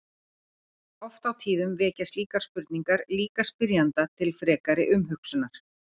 Oft á tíðum vekja slíkar spurningar líka spyrjanda til frekari umhugsunar.